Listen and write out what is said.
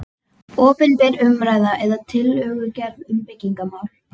Opinber umræða eða tillögugerð um byggingarmál